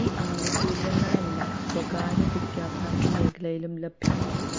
ഈ ആനുകൂല്യങ്ങളെല്ലാം സ്വകാര്യ വിദ്യാഭ്യാസ മേഖലയിലും ലഭ്യമാകും